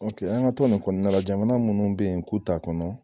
Dɔnke an ka to nin kɔnɔna la jamana munnu be yen k'u t'a kɔnɔ